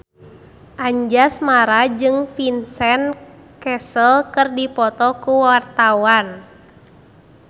Anjasmara jeung Vincent Cassel keur dipoto ku wartawan